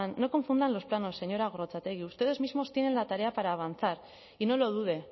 no confunda los planos señora gorrotxategi ustedes mismos tienen la tarea para avanzar y no lo dude